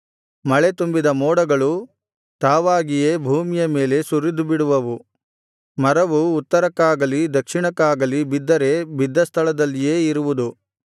ಮಳೆ ತುಂಬಿದ ಮೋಡಗಳು ತಾವಾಗಿಯೇ ಭೂಮಿಯ ಮೇಲೆ ಸುರಿದುಬಿಡುವವು ಮರವು ಉತ್ತರಕ್ಕಾಗಲಿ ದಕ್ಷಿಣಕ್ಕಾಗಲಿ ಬಿದ್ದರೆ ಬಿದ್ದ ಸ್ಥಳದಲ್ಲಿಯೇ ಇರುವುದು